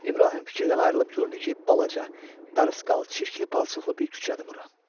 İbrahim fikirdən ayrılıb gördü ki, balaca, darısqal, çirkli-palçıqlı bir küçədir bura.